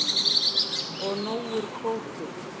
Og nógur kvóti.